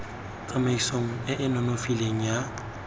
tsamaisong e e nonofileng ya